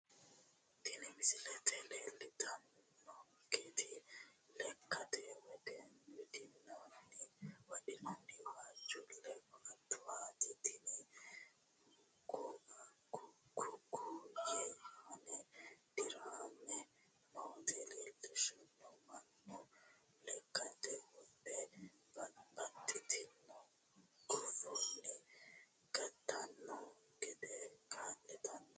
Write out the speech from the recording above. tini mislete leltannoti lekkate wodhinanni waajjuule koatuwaati tini ku'u ku'uyi aana dirame nooti lellishshanno mannu lekkate wodhe babbaxitinno guffanni gatanno gede kaa'litanno